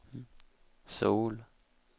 Söul